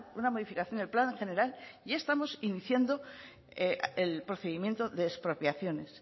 una modificación del plan general ya estamos iniciando el procedimiento de expropiaciones